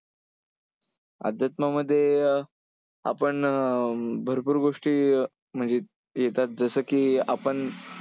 अध्यात्मामध्ये अं आपण अं भरपूर गोष्टीम्हणजे येतात जसं की आपण